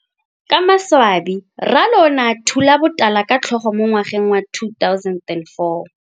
Ka maswabi Ralo o ne a thula botala ka tlhogo mo ngwageng wa 2004.